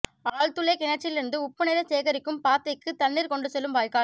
ஆழ் துளை கிணற்றிலிருந்து உப்பு நீரைச் சேகரிக்கும் பாத்திக்குத் தண்ணீரைக் கொண்டு செல்லும் வாய்க்கால்